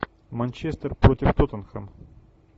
манчестер против тоттенхэм